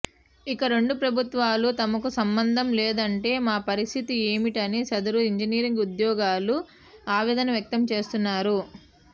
ఇక రెండు ప్రభుత్వాలు తమకు సంబధం లేదంటే మా పరిస్థితి ఏమిటని సదరు ఇంజినీరు ఉద్యోగులు ఆవేదన వ్యక్తం చేస్తున్నారు